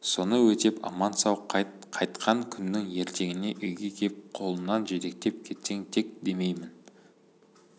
соны өтеп аман-сау қайт қайтқан күннің ертеңіне үйге кеп қолынан жетектеп кетсең тек демеймін